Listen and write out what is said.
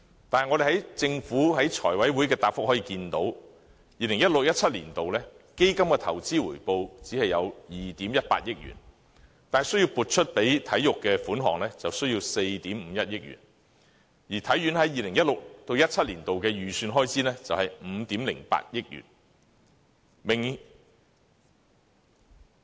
但是，我們從政府在財委會的答覆可以看到 ，2016-2017 年度的基金投資回報只有2億 1,800 萬元，但撥予體育的款項就需要4億 5,100 萬元，而體院在 2016-2017 年度的預算開支是5億800萬元。